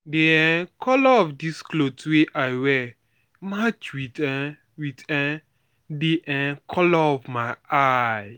the um colour of dis cloth wey i wear match with um with um the um colour of my eye